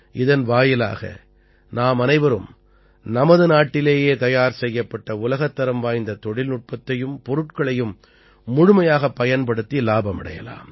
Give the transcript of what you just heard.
இதன் வாயிலாக நாமனைவரும் நமது நாட்டிலேயே தயார் செய்யப்பட்ட உலகத்தரம் வாய்ந்த தொழில்நுட்பத்தையும் பொருட்களையும் முழுமையாகப் பயன்படுத்தி இலாபமடையலாம்